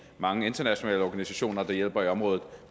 mange internationale organisationer der hjælper i området